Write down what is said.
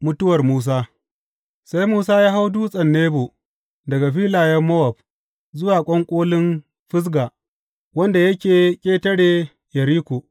Mutuwar Musa Sai Musa ya hau Dutsen Nebo daga filayen Mowab, zuwa ƙwanƙolin Fisga, wanda yake ƙetare Yeriko.